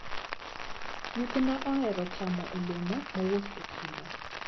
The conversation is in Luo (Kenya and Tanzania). Nyithinda ohero chamo olemo mowuok e chiro.